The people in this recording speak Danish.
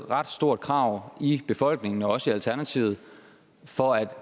ret stort krav i befolkningen og også i alternativet for at